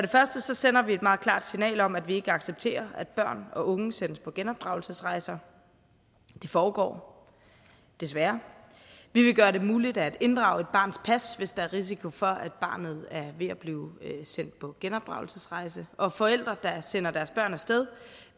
sender et meget klart signal om at vi ikke accepterer at børn og unge sendes på genopdragelsesrejser det foregår desværre vi vil gøre det muligt at inddrage et barns pas hvis der er risiko for at barnet er ved at blive sendt på genopdragelsesrejse og forældre der sender deres børn af sted